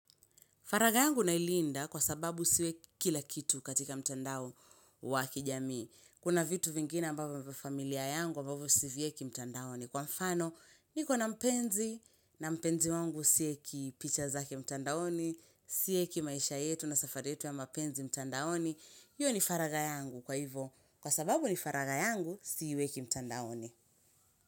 Faragha yangu nailinda kwa sababu isiwe kila kitu katika mtandao wa kijamii. Kuna vitu vingine ambavyo vya familia yangu ambavyo sivieki mtandaoni. Kwa mfano, niko na mpenzi na mpenzi wangu sieki picha zake mtandaoni, sieki maisha yetu na safari yetu ya mapenzi mtandaoni. Hiyo ni faragha yangu kwa hivo. Kwa sababu ni faragha yangu, siiweki mtandaoni.